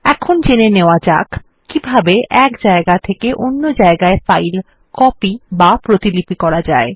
এখন জেনে নেওয়া যাক কিভাবে এক জায়গা থেকে অন্য জায়গায় ফাইল কপি বা প্রতিলিপি করা যায়